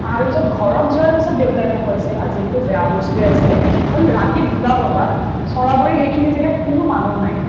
আহাৰ পিছত ঘৰত যোৱাৰ পিছত দেউতাই মোক কৈছে আজিৰ সেইটো বেয়া বস্তুয়ে আছিলে কাৰণ ৰাতি দুটা বজাত সেইখিনি জেগাত কোনো মানুহ নাই